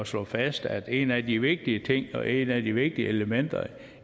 slå fast at en af de vigtige ting og et af de vigtige elementer